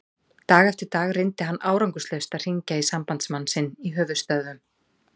Dag eftir dag reyndi hann árangurslaust að hringja í sambandsmann sinn í höfuðstöðvum